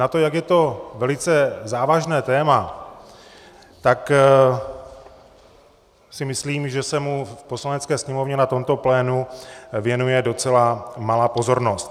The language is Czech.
Na to, jak je to velice závažné téma, tak si myslím, že se mu v Poslanecké sněmovně na tomto plénu věnuje docela malá pozornost.